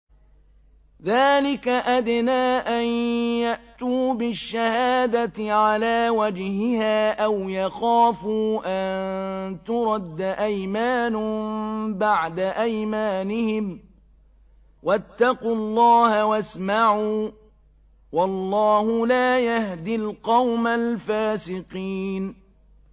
ذَٰلِكَ أَدْنَىٰ أَن يَأْتُوا بِالشَّهَادَةِ عَلَىٰ وَجْهِهَا أَوْ يَخَافُوا أَن تُرَدَّ أَيْمَانٌ بَعْدَ أَيْمَانِهِمْ ۗ وَاتَّقُوا اللَّهَ وَاسْمَعُوا ۗ وَاللَّهُ لَا يَهْدِي الْقَوْمَ الْفَاسِقِينَ